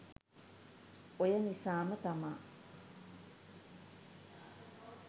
ඔය නිසාම තමා